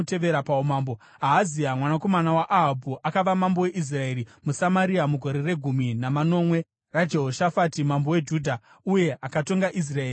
Ahazia mwanakomana waAhabhu akava mambo weIsraeri muSamaria mugore regumi namanomwe raJehoshafati mambo weJudha, uye akatonga Israeri kwamakore maviri.